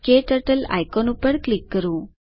ક્ટર્ટલ icon ઉપર click કરો